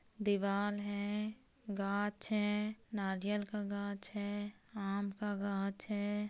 दीवाल है गाछ है नारियल का गाछ है आम का गाछ है।